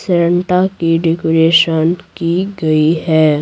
Santa की decoration की गई है।